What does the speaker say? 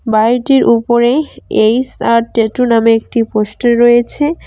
বাড়িটির উপরে H R tattoo নামে একটি পোস্টার রয়েছে।